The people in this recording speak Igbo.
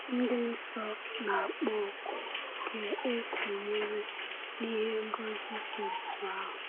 Ndị nsọ na-akpọ oku ka e sonyere n’ihe ngọzi dị otú ahụ.